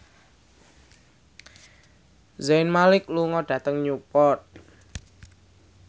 Zayn Malik lunga dhateng Newport